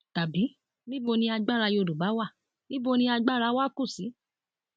tàbí níbo ni agbára yorùbá wà níbo ni agbára wa kù sí